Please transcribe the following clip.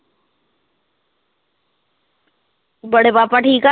ਬੜੇ ਪਾਪਾ ਠੀਕ ਆ